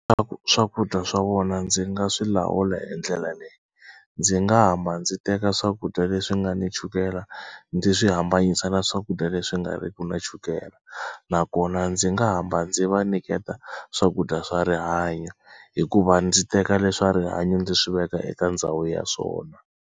swakudya swa vona ndzi nga swi lawula hi ndlela leyi ndzi nga hamba ndzi teka swakudya leswi nga ni chukela ndzi swi hambanyisa na swakudya leswi nga riki na chukela nakona ndzi nga hamba ndzi va nyiketa swakudya swa rihanyo hikuva ndzi teka leswa rihanyo ndzi swi veka eka ndhawu ya swona.